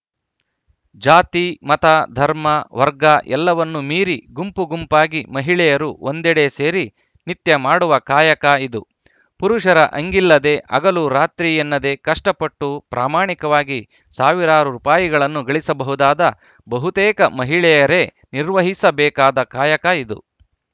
ಜಾತಿ ಮತ ಧರ್ಮ ವರ್ಗ ಎಲ್ಲವನ್ನೂ ಮೀರಿ ಗುಂಪು ಗುಂಪಾಗಿ ಮಹಿಳೆಯರು ಒಂದೆಡೆ ಸೇರಿ ನಿತ್ಯ ಮಾಡುವ ಕಾಯಕ ಇದು ಪುರುಷರ ಹಂಗಿಲ್ಲದೆ ಹಗಲು ರಾತ್ರಿ ಎನ್ನದೆ ಕಷ್ಟಪಟ್ಟು ಪ್ರಾಮಾಣಿಕವಾಗಿ ಸಾವಿರಾರು ರುಪಾಯಿಗಳನ್ನು ಗಳಿಸಬಹುದಾದ ಬಹುತೇಕ ಮಹಿಳೆಯರೇ ನಿರ್ವಹಿಸಬೇಕಾದ ಕಾಯಕ ಇದು